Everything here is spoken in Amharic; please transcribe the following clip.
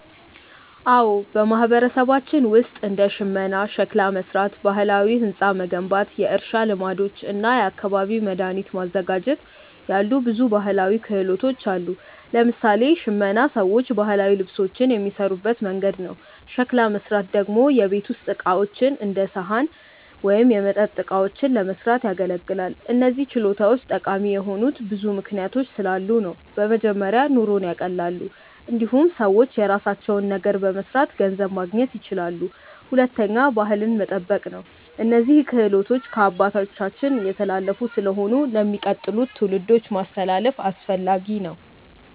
አዎ፣ በማህበረሰባችን ውስጥ እንደ ሽመና፣ ሸክላ መሥራት፣ ባህላዊ ሕንፃ መገንባት፣ የእርሻ ልማዶች እና የአካባቢ መድኃኒት ማዘጋጀት ያሉ ብዙ ባህላዊ ክህሎቶች አሉ። ለምሳሌ ሽመና ሰዎች ባህላዊ ልብሶችን የሚሠሩበት መንገድ ነው። ሸክላ መሥራት ደግሞ የቤት ውስጥ ዕቃዎች እንደ ሳህን ወይም የመጠጥ እቃዎችን ለመስራት ያገለግላል። እነዚህ ችሎታዎች ጠቃሚ የሆኑት ብዙ ምክንያቶች ስላሉ ነው። በመጀመሪያ ኑሮን ያቀላሉ። እንዲሁም ሰዎች የራሳቸውን ነገር በመስራት ገንዘብ ማግኘት ይችላሉ። ሁለተኛ ባህልን መጠበቅ ነው፤ እነዚህ ክህሎቶች ከአባቶቻችን የተላለፉ ስለሆኑ ለሚቀጥሉት ትውልዶች ማስተላለፍ አስፈላጊ ነው።